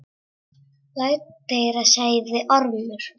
Lát heyra, sagði Ormur.